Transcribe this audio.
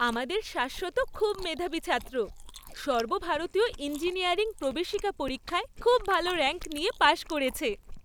আমাদের শাশ্বত খুব মেধাবী ছাত্র! সর্বভারতীয় ইঞ্জিনিয়ারিং প্রবেশিকা পরীক্ষায় খুব ভালো র‍্যাঙ্ক নিয়ে পাশ করেছে।